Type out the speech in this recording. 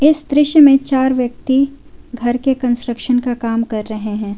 इस दृश्य में चार व्यक्ति घर के कंस्ट्रक्शन का काम कर रहे हैं।